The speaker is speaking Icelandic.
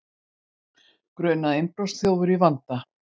Grunaður innbrotsþjófur í vanda